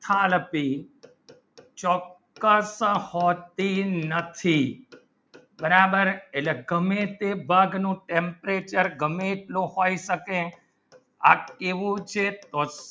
નથી બરાબર એટલે ગમે તે ભાગનું temperature ગમે તેટલો હોઈ શકે એવું છે